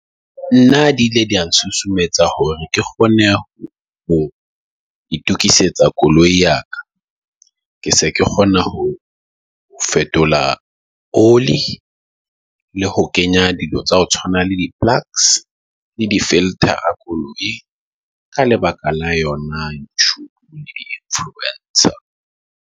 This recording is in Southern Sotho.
Nna di ile tsa susumetsa hore ke kgone ho itokisetsa koloi ya ka. Ke se ke kgona ho fetola oli. Le ho kenya dilo tsa ho tshwana le di-plugs le di-filter-a koloing. La lebaka la yona ntho di influence .